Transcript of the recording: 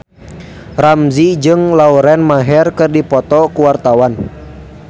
Ramzy jeung Lauren Maher keur dipoto ku wartawan